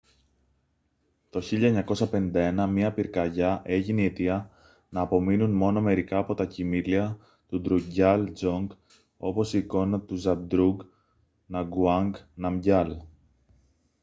το 1951 μια πυρκαγιά έγινε η αιτία να απομείνουν μόνο μερικά από τα κειμήλια του ντρουκγκιάλ ντζονγκ όπως η εικόνα του ζαμπντρούγκ νγκαγουάνγκ ναμγκιάλ